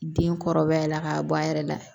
Den kɔrɔbaya la k'a bɔ a yɛrɛ la